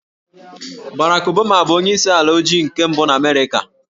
Barack Obama bụ onyeisi ala ojii mbụ nke Amerịka